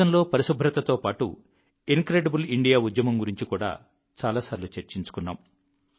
టూరిజంలో పరిశుభ్రతతో పాటు incredible India ఉద్యమం గురించి కూడా చాలాసార్లు చర్చించుకున్నాం